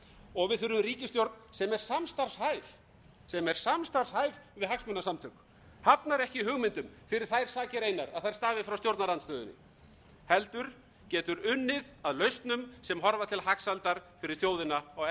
og við þurfum ríkisstjórn sem er samstarfshæf við hagsmunasamtök hafnar ekki hugmyndum fyrir þær sakir einar að þær stafi frá stjórnarandstöðunni heldur getur unnið að lausnum sem horfa til hagsældar fyrir þjóðina á erfiðum